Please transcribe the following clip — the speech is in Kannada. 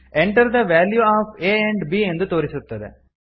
enter the value of a and b ಎಂದು ತೋರಿಸುತ್ತದೆ